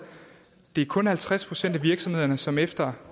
det er kun halvtreds procent af virksomhederne som efter